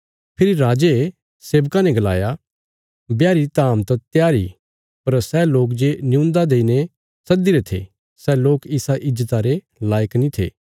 फेरी राजे सेबकां ने गलाया ब्याह री धाम त त्यार इ पर सै लोक जे न्यून्दा देईने सद्दीरे थे सै लोक इसा ईज्जता रे लायक नीं हुये